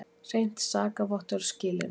Hreint sakavottorð skilyrði.